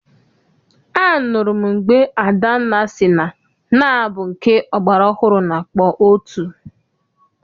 Anụrụ m mgbe Adanna sị na nnaa bụ nke ọgbara ọhụrụ na-akpọ otu.